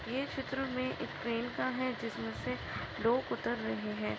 यह चित्र मे एक ट्रेन का है जिस मे से लोग उतर रहे है।